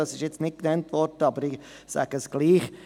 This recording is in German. Das ist hier nicht genannt worden, aber ich sage es trotzdem: